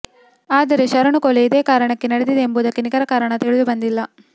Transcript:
ಆದರೆ ಶರಣು ಕೊಲೆ ಇದೇ ಕಾರಣಕ್ಕೆ ನಡೆದಿದೆ ಎಂಬುದಕ್ಕೆ ನಿಖರ ಕಾರಣ ತಿಳಿದು ಬಂದಿಲ್ಲ